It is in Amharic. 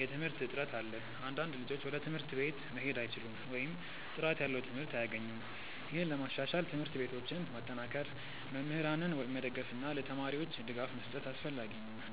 የትምህርት እጥረት አለ። አንዳንድ ልጆች ወደ ትምህርት ቤት መሄድ አይችሉም ወይም ጥራት ያለው ትምህርት አያገኙም። ይህን ለማሻሻል ትምህርት ቤቶችን ማጠናከር፣ መምህራንን መደገፍ እና ለተማሪዎች ድጋፍ መስጠት አስፈላጊ ነው።